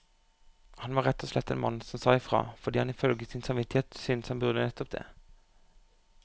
Han var rett og slett en mann som sa ifra, fordi han ifølge sin samvittighet syntes han burde nettopp det.